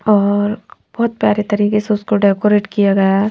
और बहोत प्यारे तरीकेसे उसको डेकोरेट किया गया है।